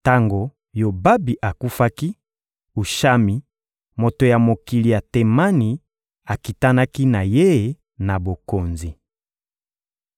Tango Yobabi akufaki, Ushami, moto ya mokili ya Temani, akitanaki na ye na bokonzi.